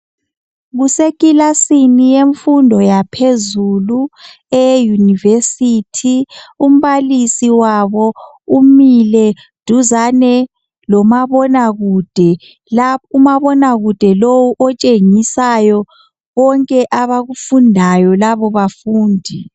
Kusekilasini yemfundo yaphezulu eyeYunivesi. Umbalisi wabo umile duzane lomabonakude, umabonakude lowo otshengisayo konke abakufundayo labo bafundi.